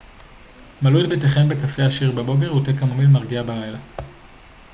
מלאו את ביתכם בקפה עשיר בבוקר ותה קמומיל מרגיע בלילה